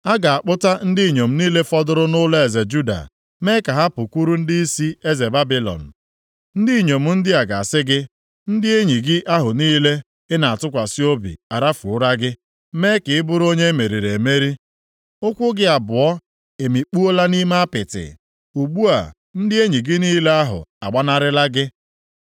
A ga-akpụta ndị inyom niile fọdụrụ nʼụlọeze Juda mee ka ha pukwuru ndịisi eze Babilọn. Ndị inyom ndị a ga-asị gị, “ ‘Ndị enyi gị ahụ niile ị na-atụkwasị obi arafuola gị, mee ka ị bụrụ onye e meriri emeri. Ụkwụ gị abụọ emikpuola nʼime apịtị, ugbu a, ndị enyi gị niile ahụ agbanarịla gị.’